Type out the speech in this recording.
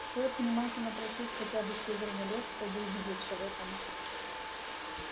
стоит внимательно прочесть хотя бы северный лес чтобы убедиться в этом